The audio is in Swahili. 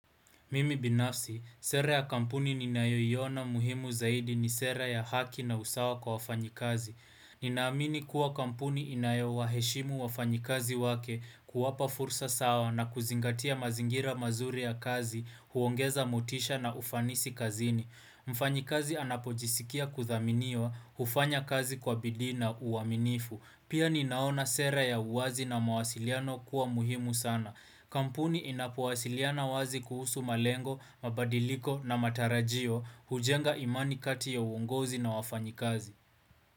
Mimi binafsi, sera ya kampuni ninayoiona muhimu zaidi ni sera ya haki na usawa kwa wafanyikazi. Ninaamini kuwa kampuni inayo waheshimu wafanyikazi wake kuwapa fursa sawa na kuzingatia mazingira mazuri ya kazi, huongeza motisha na ufanisi kazini. Mfanyikazi anapojisikia kuthaminiwa, hufanya kazi kwa bidina uwaminifu. Pia ninaona sera ya uwazi na mawasiliano kuwa muhimu sana. Kampuni inapowasiliana wazi kuhusu malengo, mabadiliko na matarajio hujenga imani kati ya uongozi na wafanyikazi.